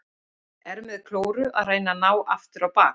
Er með klóru að reyna að ná aftur á bak.